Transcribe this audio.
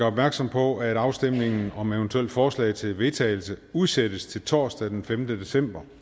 opmærksom på at afstemningen om eventuelle forslag til vedtagelse udsættes til torsdag den femte december